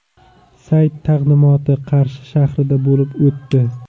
Sayt taqdimoti Qarshi shahrida bo‘lib o‘tdi.